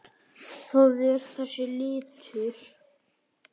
Það er þessi litur.